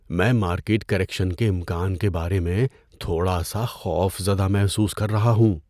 میں market correction کے امکان کے بارے میں تھوڑا سا خوفزدہ محسوس کر رہا ہوں۔